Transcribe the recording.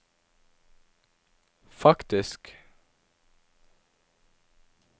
faktisk